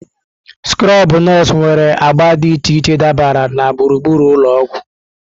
Skrobụ nọọsụ nwere agba dị iche iche dabara na gburugburu ụlọ ọgwụ.